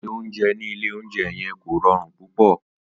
Ìyé ounjé ni ìlé ounjé yen kó rõrun púpõ